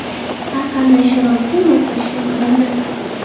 Har qanday sharoitga moslashgan odamlar .